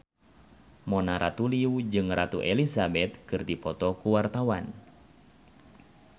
Mona Ratuliu jeung Ratu Elizabeth keur dipoto ku wartawan